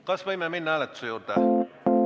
Kas võime minna hääletuse juurde?